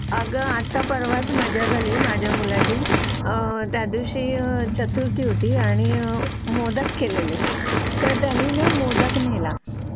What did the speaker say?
आता परवाच माझ्या घरी माझ्या मुलाची त्या दिवशी चतुर्थी होती आणि मोदक केलेले तर त्यांनी मोदक नेला